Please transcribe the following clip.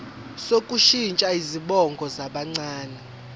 sokushintsha izibongo zabancane